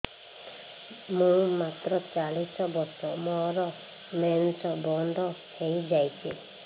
ମୁଁ ମାତ୍ର ଚାଳିଶ ବର୍ଷ ମୋର ମେନ୍ସ ବନ୍ଦ ହେଇଯାଇଛି